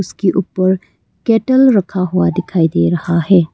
इसके ऊपर केटल रखा हुआ दिखाई दे रहा है।